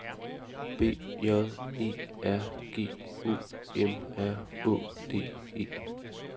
B J E R G O M R Å D E